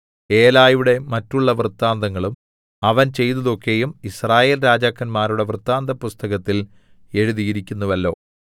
ഏലയുടെ മറ്റുള്ള വൃത്താന്തങ്ങളും അവൻ ചെയ്തതൊക്കെയും യിസ്രായേൽ രാജാക്കന്മാരുടെ വൃത്താന്തപുസ്തകത്തിൽ എഴുതിയിരിക്കുന്നുവല്ലോ